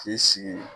K'i sigi